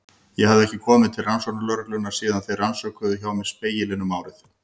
Ég hafði ekki komið til rannsóknarlögreglunnar síðan þeir rannsökuðu hjá mér Spegilinn um árið.